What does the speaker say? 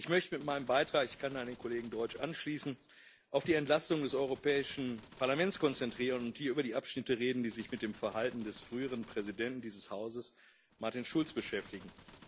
Ich möchte mich mit meinem Beitrag ich kann an den Kollegen Deutsch anschließen auf die Entlastung des Europäischen Parlaments konzentrieren und hier über die Abschnitte reden, die sich mit dem Verhalten des früheren Präsidenten dieses Hauses, Martin Schulz, beschäftigen.